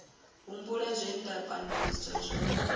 humbula zwe nda pandeliswa zwone